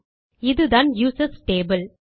இதுதான் users table